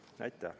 Aitäh!